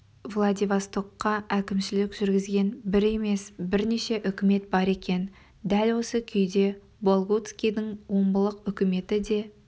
владивостокқа әкімшілік жүргізген бір емес бірнеше үкімет бар екен дәл осы күйде болгутскийдің омбылық үкіметі де